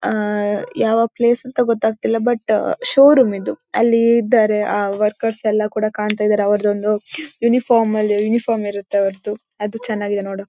ಆಂ ಯಾವ ಪ್ಲೇಸ್ ಅಂತ ಗೊತ್ತಾಗ್ತಿಲ್ಲ ಬಟ್ ಶೋರೂಮ್ ಇದು ಅಲ್ಲಿ ಇದ್ದಾರೆ ಅ ವರ್ಕರ್ಸ್ ಎಲ್ಲ ಕೂಡ ಕಾಣ್ತಾ ಇದ್ದಾರೆ ಅವರದೊಂದು ಯುನಿಫಾರ್ಮ್ ಅಲ್ಲಿ ಯುನಿಫಾರ್ಮ್ ಇರತ್ತೆ ಅವರದ್ದು ಅದು ಚೆನ್ನಾಗಿದೆ ನೋಡೋ--